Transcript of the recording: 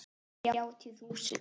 Þrjátíu þúsund!